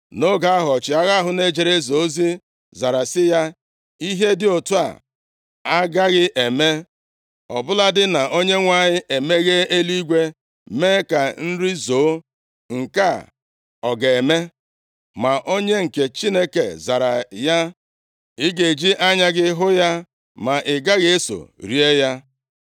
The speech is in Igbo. Nʼoge ahụ, ọchịagha ahụ na-ejere eze ozi zara sị ya, “Ihe dị otu a agaghị eme, ọ bụladị na Onyenwe anyị emeghee eluigwe mee ka nri zoo, nke a ọ ga-eme?” Ma onye nke Chineke zara ya, “Ị ga-eji anya gị hụ ya, ma ị gaghị eso rie ya.”